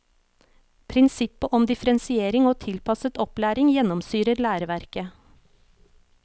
Prinsippet om differensiering og tilpasset opplæring gjennomsyrer læreverket.